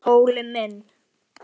Óli minn!